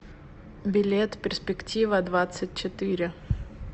билет перспектива двадцать четыре